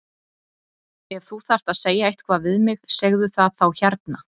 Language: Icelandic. Ef þú þarft að segja eitthvað við mig segðu það þá hérna!